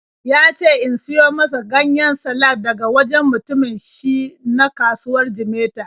Ya ce in siyo masa ganyen salak daga wajen mutumin shi na kasuwar Jimeta.